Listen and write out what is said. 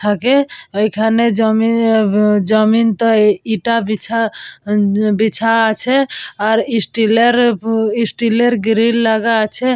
থাকে ওখানে জমিন জমিন তো এটা বিছা বিছা আছে আর স্টিলের স্টিলের গ্রিল লাগা আছে।